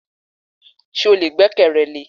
Ṣé o lè gbẹ́kẹ̀rẹ lé e?